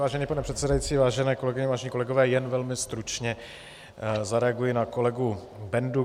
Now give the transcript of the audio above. Vážený pane předsedající, vážené kolegyně, vážení kolegové, jen velmi stručně zareaguji na kolegu Bendu.